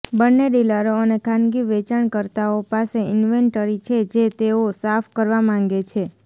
બંને ડીલરો અને ખાનગી વેચાણકર્તાઓ પાસે ઇન્વેન્ટરી છે જે તેઓ સાફ કરવા માગે છે